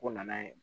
Ko nana ye